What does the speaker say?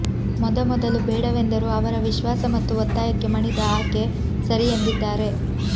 ಮೊದಮೊದಲು ಬೇಡವೆಂದರೂ ಅವರ ವಿಶ್ವಾಸ ಮತ್ತು ಒತ್ತಾಯಕ್ಕೆ ಮಣಿದ ಆಕೆ ಸರಿ ಎಂದಿದ್ದಾರೆ